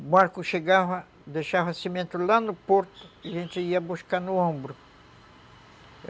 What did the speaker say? O barco chegava, deixava cimento lá no porto e a gente ia buscar no ombro.